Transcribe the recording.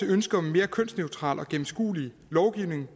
ønsket om mere kønsneutral og gennemskuelig lovgivning